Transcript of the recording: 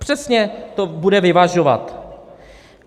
Přesně to bude vyvažovat.